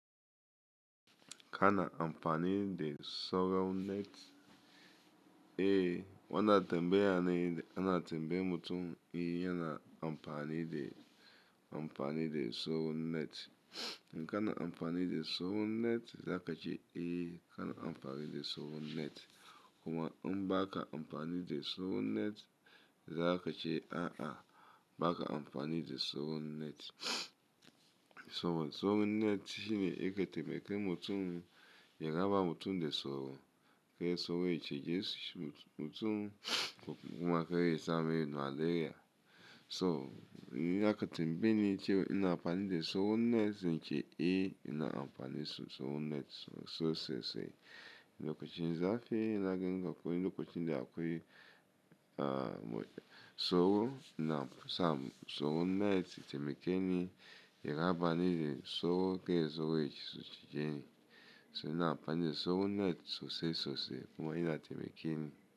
Ka na amfani da sorron net? Eh, wana tembe ya ne, ana tembe mutum, eh yana amfani da, amfani da sorron net. In ka na amfani da sorron net, za ka ce, "Eh, ka na amfani da sorron net." Kuma in ba ka amfani da sorron net, za ka ce, "A'a, ba ka amfani da sorron net." Sorrow, sorrow net shine yake temeke mutum, ya raba mutum da sauro, kar sauro ya cijishi mutum, ko kuma kaiya samai malaria. To, in aka tembeyeni cewa ina amfani da sauron net, zance, "Eh, ina amfani da sauron net sosai, sosai." Lokacin zafi ina jinga koyi, lokacin da akwai, uh, sauro, inasa sauron net temekeni, ya rabani da sauro, kai sauro yake cijeni. So ina amfani da sauron net sosai, sosai kuma ina temekeni.